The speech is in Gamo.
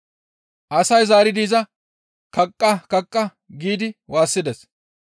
Asay zaaridi iza, «Kaqqa! Kaqqa!» giidi waassides.